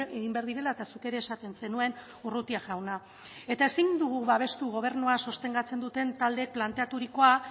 egin behar direla eta zuk ere esaten zenuen urrutia jauna eta ezin dugu babestu gobernua sostengatzen duten taldeek planteaturikoa